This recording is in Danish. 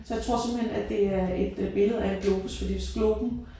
Så jeg tror simpelthen at det er et øh billede af en globus fordi hvis globen